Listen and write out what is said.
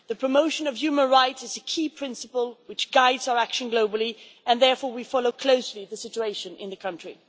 The promotion of human rights is a key principle which guides our action globally and therefore we follow closely the situation in the country.